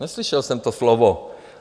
Neslyšel jsem to slovo.